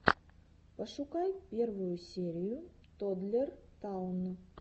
пошукай первую серию тоддлер таун